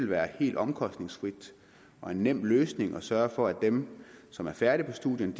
være helt omkostningsfrit og en nem løsning at sørge for at dem som er færdige på studierne